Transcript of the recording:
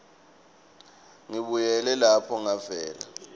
ngibuyele lapho ngavela